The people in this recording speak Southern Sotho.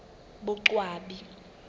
boqwabi